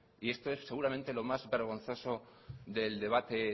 y esto es seguramente lo más vergonzoso del debate